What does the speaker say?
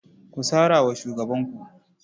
Ku sara wa shugabanku.